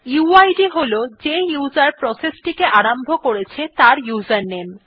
weed হল যে উসের প্রসেস টিকে আরম্ভ করেছে তার উসের নামে